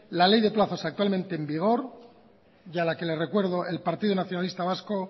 la ley de plazos actualmente en vigor y a la que les recuerdo el partido nacionalista vasco